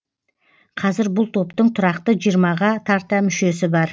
қазір бұл топтың тұрақты жиырмаға тарта мүшесі бар